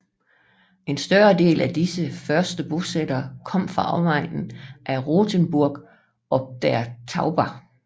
En større del af disse første bosættere kom fra omegnen af Rothenburg ob der Tauber